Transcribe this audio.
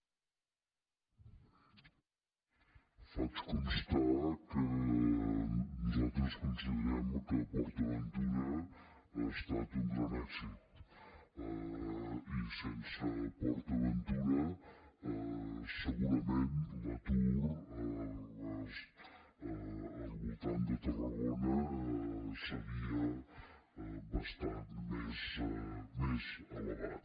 faig constar que nosaltres considerem que port aventura ha estat un gran èxit i que sense port aventura segurament l’atur al voltant de tarragona seria bastant més elevat